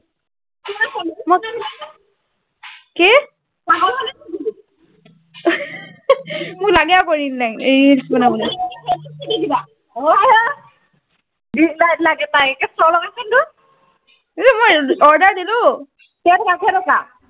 পাগল হলি নেকি মোক লাগে আকৌ ring light reels বনাবলে ring light লাগে তাইক এক চৰ লগা চোন এইটোক ইহ মই order দিলো কেই টকা কেই টকা